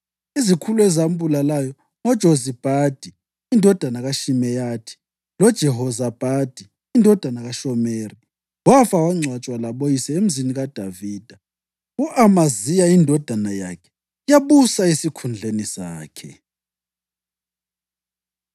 Izikhulu ezambulalayo ngoJozabhadi indodana kaShimeyathi loJehozabhadi indodana kaShomeri. Wafa wangcwatshwa laboyise eMzini kaDavida. U-Amaziya indodana yakhe yabusa esikhundleni sakhe.